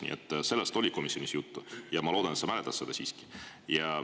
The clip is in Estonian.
Nii et sellest oli komisjonis juttu ja ma loodan, et sa siiski mäletad seda.